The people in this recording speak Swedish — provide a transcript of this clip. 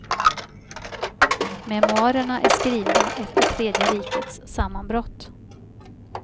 Memoarerna är skrivna efter tredje rikets sammanbrott.